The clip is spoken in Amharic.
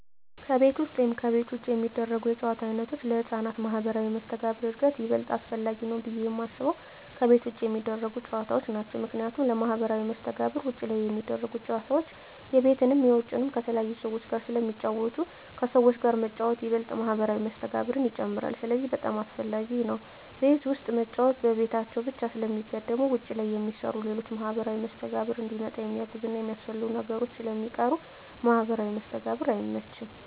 ከቤት ውስጥ ወይም ከቤት ውጭ የሚደረጉ የጨዋታ ዓይነቶች ለሕፃናት ማኅበራዊ መስተጋብር እድገት ይበልጥ አስፈላጊው ብየ የማስበው ከቤት ውጭ የሚደረጉ ጨዎታዎች ናቸው ምክንያቱም ለማህበራዊ መስተጋብር ውጭ ላይ ሚደረጉት ጨወታዎች የቤትንም የውጭንም ከተለያዩ ሰዎች ጋር ስለሚጫወቱ ከሰዎች ጋር መጫወት ይበልጥ ማህበራዊ መስተጋብርን ይጨምራል ስለዚህ በጣም አሰፈላጊ ነው ቤት ውስጥ መጫወት በቤታቸው ብቻ ስለሚገደቡ ውጭ ላይ የሚሰሩ ሌሎች ለማህበራዊ መስተጋብር እንዲመጣ የሚያግዙና የሚያስፈልጉ ነገሮች ስለሚቀሩ ለማህበራዊ መስተጋብር አይመችም።